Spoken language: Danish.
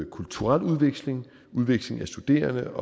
kulturel udveksling udveksling af studerende